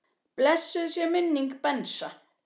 Blessuð sé minning Bensa.